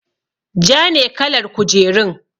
Ja ne kalar kujerun.